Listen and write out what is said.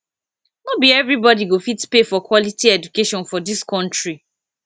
no be everybodi go fit pay for quality education for dis country